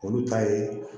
Olu ta ye